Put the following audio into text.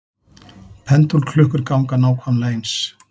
Pendúlklukkur ganga nákvæmlega eins.